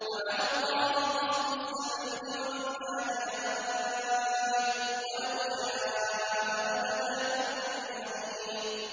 وَعَلَى اللَّهِ قَصْدُ السَّبِيلِ وَمِنْهَا جَائِرٌ ۚ وَلَوْ شَاءَ لَهَدَاكُمْ أَجْمَعِينَ